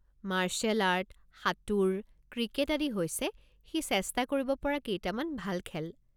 Martial art, সাঁতোৰ, cricket আদি হৈছে সি চেষ্টা কৰিব পৰা কেইটামান ভাল খেল।